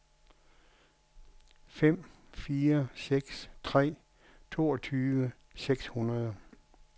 fem fire seks tre toogtyve seks hundrede